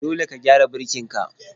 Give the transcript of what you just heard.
Dole ka gyara birkin ka.